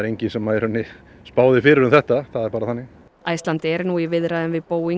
enginn sem spáði fyrir um þetta það er bara þannig Icelandair er nú í viðræðum við Boeing